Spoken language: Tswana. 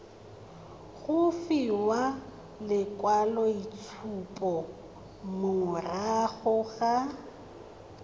go fiwa lekwaloitshupo morago ga